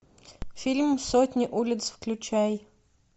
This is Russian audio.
фильм сотни улиц включай